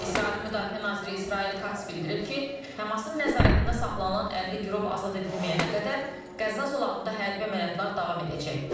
İsrailin müdafiə naziri İsrail Kası bildirib ki, Həmasın nəzarətində saxlanılan 50 girov azad edilməyənə qədər Qəzza zolağında hərbi əməliyyatlar davam edəcək.